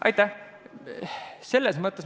Aitäh!